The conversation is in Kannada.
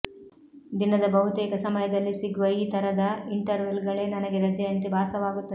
ದಿನದ ಬಹುತೇಕ ಸಮಯದಲ್ಲಿ ಸಿಗುವ ಈ ಥರದ ಇಂಟರ್ವೆಲ್ಗಳೇ ನನಗೆ ರಜೆಯಂತೆ ಭಾಸವಾಗುತ್ತವೆ